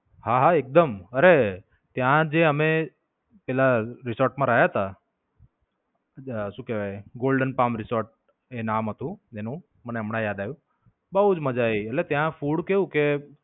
હા, હા એકદમ. અરે, ત્યાં જે અમે પેલા રિસોર્ટ માં રહ્યા હતા. શું કેવાય Golden Palm Resort એ નામ હતું એનું મને હમણાં યાદ આવ્યું. બવ જ મજા આવી એટલે ત્યાં food કેવું કે.